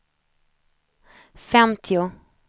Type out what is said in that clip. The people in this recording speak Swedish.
femtio